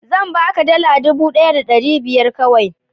zan baka dala dubu ɗaya da ɗari biyar kawai